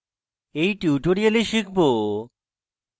in tutorial শিখব: